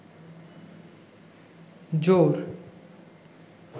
জোর